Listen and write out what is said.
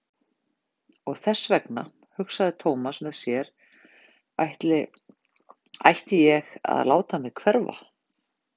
Og þess vegna, hugsaði Thomas með sér, ætla ég að láta mig hverfa.